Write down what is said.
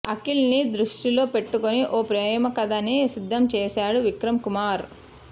అఖిల్ ని దృష్టిలో పెట్టుకొని ఓ ప్రేమకథని సిద్దం చేశాడు విక్రమ్ కుమార్